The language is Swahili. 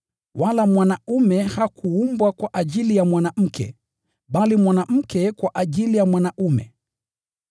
Wala mwanaume hakuumbwa kwa ajili ya mwanamke, bali mwanamke kwa ajili ya mwanaume.